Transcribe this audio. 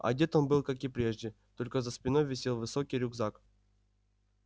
одет он был как и прежде только за спиной висел высокий рюкзак